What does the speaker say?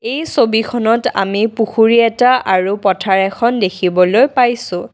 এই ছবিখনত আমি পুখুৰী এটা আৰু পথাৰ এখন দেখিবলৈ পাইছোঁ।